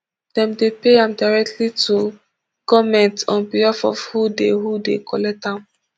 dem dey pay am directly to goment on behalf of who dey who dey collect am